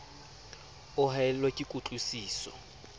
o haellwa ke kutlwi siso